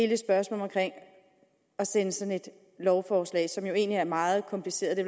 det spørgsmål om at sende sådan et lovforslag som jo egentlig er meget kompliceret det